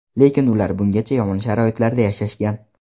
Lekin ular bungacha yomon sharoitlarda yashashgan.